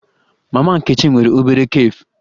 Mama Nkechi nwere obere cafe